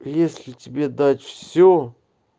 если тебе дать все